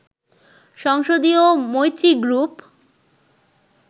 সংসদীয় মৈত্রী গ্রুপ